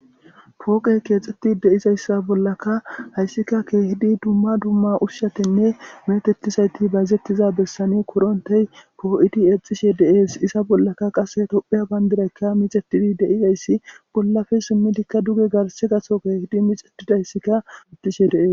pooqey keexxetti de7izayssa bollaka hayssika keehidi dumma dumma ushshatinne metetisayti bazzettiza bessani korontey poo7idi exxishe dees isa bollaka qase topheya bayndidaykka mixetidi deizayssi bollafe simmidikka duge garse gaso keehidi mixetidayssikka exishe dees